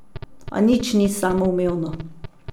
A nič ni samoumevno.